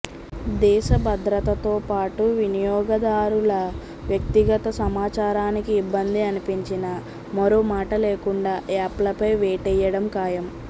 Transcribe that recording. దేశభద్రతతోపాటు వినియోగదారుల వ్యక్తిగత సమాచారానికి ఇబ్బంది అనిపించినా మరో మాట లేకుండా యాప్లపై వేటేయడం ఖాయం